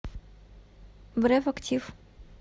бреф актив